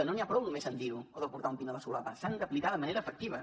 no n’hi ha prou només amb dir ho o de portar un pin a la solapa s’han d’aplicar de manera efectiva